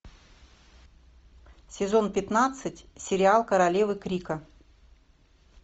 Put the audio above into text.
сезон пятнадцать сериал королевы крика